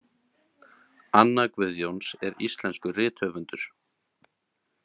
Anna Guðjóns er íslenskur rithöfundur.